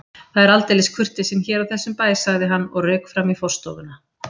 Það er aldeilis kurteisin hér á þessum bæ sagði hann og rauk fram í forstofuna.